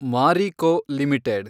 Marico limited